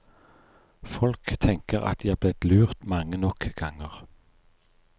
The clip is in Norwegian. Folk tenker at de er blitt lurt mange nok ganger.